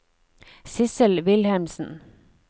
Sissel Wilhelmsen